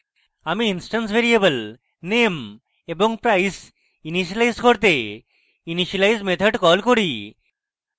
আমি instance variable name এবং price initialise করতে initialize method কল করি